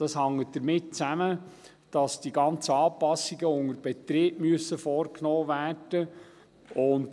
Das hängt damit zusammen, dass die ganzen Anpassungen unter Betrieb vorgenommen werden müssen.